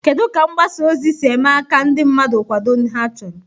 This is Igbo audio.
Kedu ka mgbasa ozi si eme ka ndị mmadụ kwado ndị ha chọrọ?